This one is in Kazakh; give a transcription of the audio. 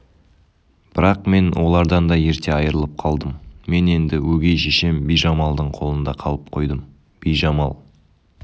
бірақ мен олардан да ерте айрылып қалдым мен енді өгей шешем бижамалдың қолында қалып қойдым бижамал